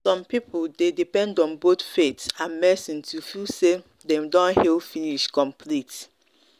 some people dey depend on both faith and medicine to feel say dem don heal finish complete.